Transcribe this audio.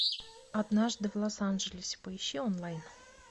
однажды в лос анджелесе поищи онлайн